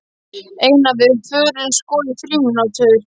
Einar: Við förum sko í frímínútur.